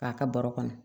K'a ka baro kɔnɔ